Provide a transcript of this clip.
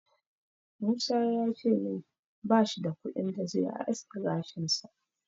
Musa ya ce min bash da kuɗin da zai aske gashinsa.